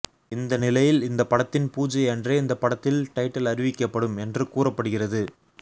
இந்த நிலையில் இந்த படத்தின் பூஜை அன்றே இந்த படத்தில் டைட்டில் அறிவிக்கப்படும் என்று கூறப்படுகிறது